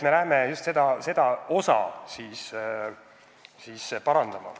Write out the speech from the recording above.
Me soovime just seda osa parandada.